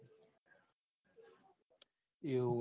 એવું